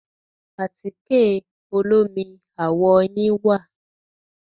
Àtíkẹ̀ olómi àwọ̀ yín wà.